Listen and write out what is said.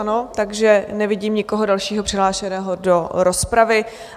Ano, takže nevidím nikoho dalšího přihlášeného do rozpravy.